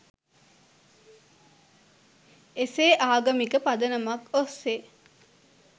එසේ ආගමික පදනමක් ඔස්සේ